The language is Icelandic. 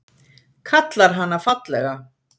Kallar hana fallega.